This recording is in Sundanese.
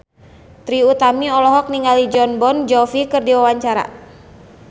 Trie Utami olohok ningali Jon Bon Jovi keur diwawancara